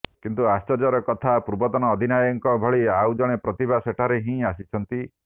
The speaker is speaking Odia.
କିନ୍ତୁ ଆଶ୍ଚର୍ଯ୍ୟର କଥା ପୂର୍ବତନ ଅଧିନାୟକଙ୍କ ଭଳି ଆଉ ଜଣେ ପ୍ରତିଭା ସେଠାରୁ ହିଁ ଆସିଛନ୍ତି